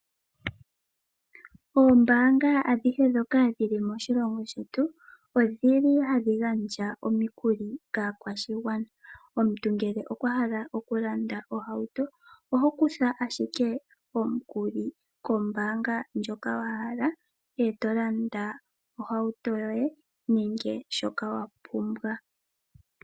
Oombanga adhihe dhoka dhili moshilongo shetu odhili hadhi gandja omikuli kaakwashigwana yetu. Omuntu ngele okwa hala oku landa ohauto oho kutha ashike omukuli kombanga ndjoka wa hala eto landa ohauto yoye nenge shoka wapumbwa.